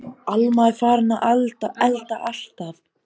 Alma er farin að elda alltaf.